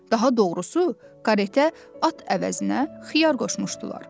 Daha doğrusu, karetə at əvəzinə xiyar qoşmuşdular.